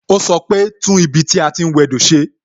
O sọ pe "tún ibi tí a ti ń wẹ do ṣe"